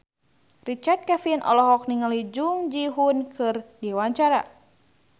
Richard Kevin olohok ningali Jung Ji Hoon keur diwawancara